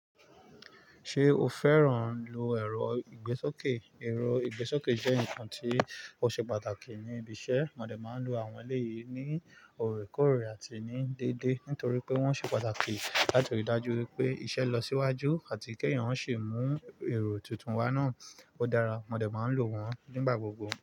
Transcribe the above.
Ṣé o fẹ́ràn lò èrò ìgbésókè? Èrò ìgbésókè jẹ́ ǹkan tí ó ṣe pàtàkì ní ibi iṣẹ́. Àwọn ọmọdé máa ń lò àwọn èrò yìí ní òreekoòre àti ní dédé, nítorí pé wọ́n ṣe pàtàkì láti ríi dájú pé iṣẹ́ ń lọ síwájú àti pé èèyàn ò ṣi mú èrò titun wa náà. Ó dára. Mọ dẹ máa ń lò wọ́n nígbà gbogbo.